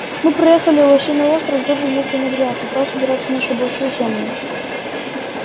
мы проехали лосиный остров тоже место неприятное там собираются на шабаши тёмные